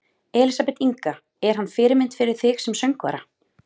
Elísabet Inga: Er hann fyrirmynd fyrir þig sem söngvara?